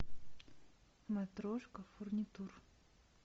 матрошка фурнитур